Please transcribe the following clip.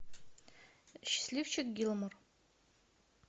счастливчик гилмор